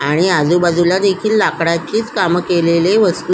आणि आजुबाजुला देखील लाकडाचीच काम केलेली वस्तू--